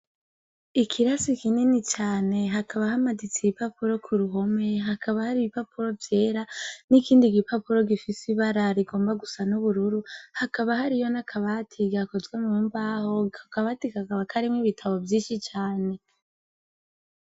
Ikirasi kinini cyane hakaba hamaditse iye ipapuro ku ruhome hakaba hari ibipapuro byera n'ikindi gipapuro gifise ibara rigomba gusa n'ubururu hakaba hari yo nakabati gakozwe mu mbaho hakabatikakaba karemwe ibitabo vyinshi cane.